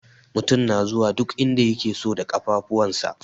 Mutum na zuwa duk inda yake so da ƙafafuwansa.